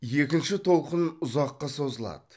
екінші толқын ұзаққа созылады